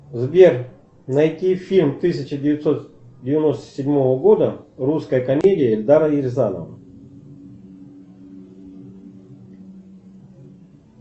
сбер найти фильм тысяча девятьсот девяносто седьмого года русская комедия эльдара рязанова